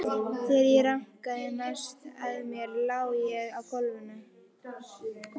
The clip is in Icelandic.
Þegar ég rankaði næst við mér lá ég á gólfinu.